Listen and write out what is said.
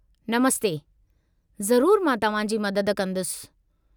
नमस्ते, ज़रूरु मां तव्हां जी मदद कंदुसि।